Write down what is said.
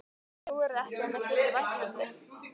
Trúirðu ekki að mér þyki vænt um þig?